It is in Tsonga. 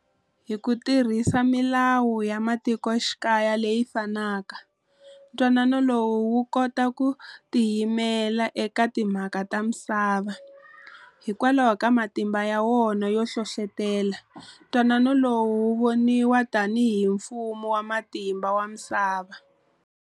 Hi kutirhisa milawu ya matikoxikaya leyi fanaka, Ntwanano lowu wukota ku tiyimela eka timhaka ta misava. Hikwalaho ka matimba yawona yo hlohlotela, Ntwanonao lowu wovoniwa tanhi hi mfumo wa matimba wa misava.